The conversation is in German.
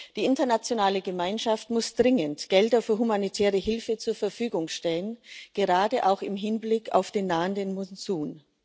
Die internationale Gemeinschaft muss dringend Gelder für humanitäre Hilfe zur Verfügung stellen, gerade auch im Hinblick auf den nahenden Monsun.